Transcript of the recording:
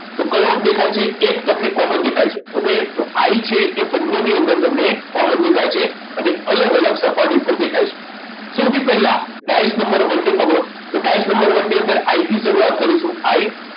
તો કયો અંક દેખાય છે એક તમને common દેખાય છે okay તો I છે એ બંનેની અંદર તમને common દેખાય છે અને અલગ અલગ સપાટી પર દેખાય છે સૌથી પહેલા ડાઈસ નંબર one ને પકડો ડાયસ નંબર one ની અંદર I થી શરૂઆત કરીશું I